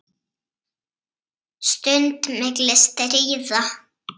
Stund milli stríða.